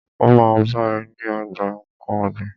Ó ma bá ẹ ní ogbà nkán ọ̀gbìn.